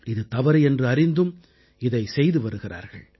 இது தவறு என்று அறிந்தும் இதைச் செய்து வருகிறார்கள்